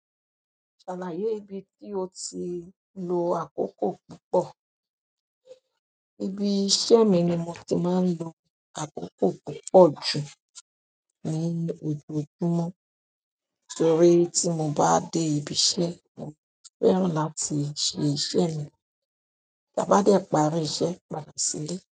Ṣàlàyé ibi tí o ti lo àkókò púpọ̀. Ibi iṣẹ́ mi ni mo ti máa ń lo àkókò púpọ̀ jù ní ojoojúmọ́. Torí tí mo bá dé ibi iṣẹ́, mo fẹ́ràn láti ṣe iṣẹ́ mi ta bá dẹ parí iṣẹ́ padà sílé.